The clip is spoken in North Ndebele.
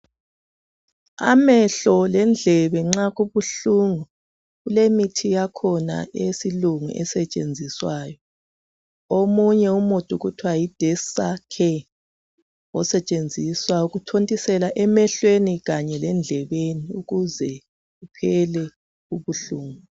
Amahlo lendlebe nxa kubuhlungu kulemithi yakhona eyesilungu esetshenziswayo, omunye umuthi kuthwa Yi Dexa Care osetshenziswa ukuthontisela emehlweni kanye lendlebeni ukuze kuphela ubuhlungu